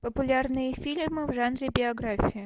популярные фильмы в жанре биография